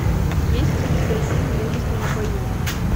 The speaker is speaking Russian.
есть ли у тебя фильм мужество в бою